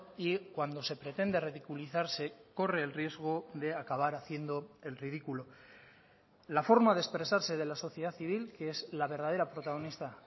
y cuando se pretende ridiculizar se corre el riesgo de acabar haciendo el ridículo la forma de expresarse de la sociedad civil que es la verdadera protagonista